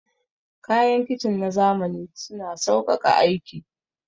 Kayan kicin na zamani suna sauƙaƙa aiki.